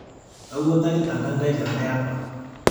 Kaiwuotokita nkangaai telde apa